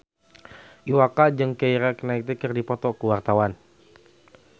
Iwa K jeung Keira Knightley keur dipoto ku wartawan